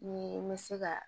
Ni n bɛ se ka